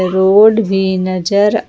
road भी नजर --